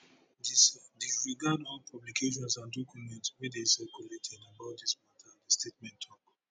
dis disregard all publications and documents wey dey circulated about dis mata di statement tok